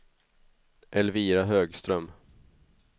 Elvira Högström